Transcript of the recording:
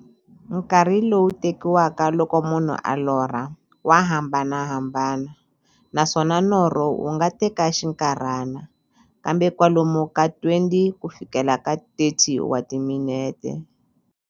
Nkarhi lowu tekiwaka loko munhu a lorha, wa hambanahambana, naswona norho wu nga teka xinkarhana, kumbe kwalomu ka 20-30 wa timinete.